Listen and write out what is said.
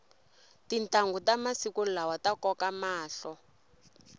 tintanghu ta masiku lawa ta koka mahlo